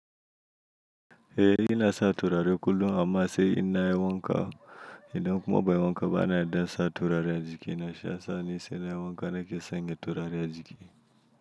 Eh ina sa turare kullum amma sai ina yi wanka. Idan kuma ban yi wanka ba na yarda sa turare a jiki na shi ya mi sai na yi wanka da ke sanya turare a jiki.